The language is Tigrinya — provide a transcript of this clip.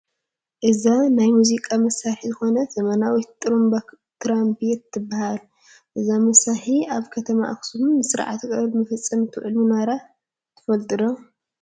እዛ ናይ ሙዚቃ መሳርሒ ዝኾነት ዘመናዊት ጥሩምባ ትራምፔት ትባሃል፡፡ እዛ መሳርሒ ኣብ ከተማ ኣኽሱም ንስርዓተ ቀብሪ መፈፀሚ ትውዕል ምንባራ ትፈልጡ ዶ?